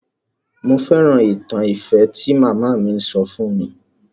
Mo fẹ́ràn ìtàn ìfẹ́ tí màmá mi sọ fún mi.